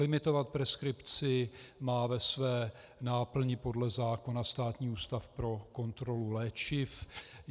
Limitovat preskripci má ve své náplni podle zákona Státní ústav pro kontrolu léčiv.